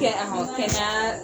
Kɛ kɛnɛya